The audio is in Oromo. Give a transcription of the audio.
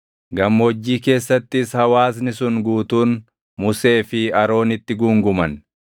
Gammoojjii keessattis hawaasni sun guutuun Musee fi Aroonitti guunguman.